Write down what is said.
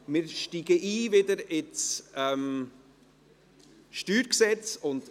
Wir steigen wieder ins Steuergesetz (StG) ein.